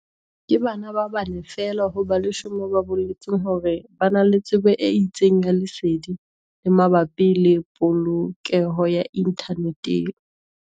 Ke bana ba bane feela ho ba 10 ba boletseng hore ba na le tsebo e itseng ya lesedi le mabapi le polokeho ya inthaneteng.